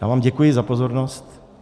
Já vám děkuji za pozornost.